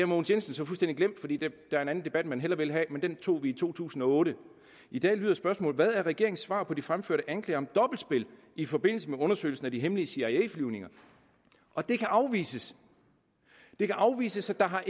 mogens jensen så fuldstændig glemt fordi der er en anden debat man hellere vil have men den tog vi i to tusind og otte i dag lyder spørgsmålet hvad er regeringens svar på de fremførte anklager om dobbeltspil i forbindelse med undersøgelsen af de hemmelige cia flyvninger og det kan afvises det kan afvises at der har